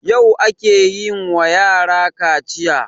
Yau ake yin wa yarakaciya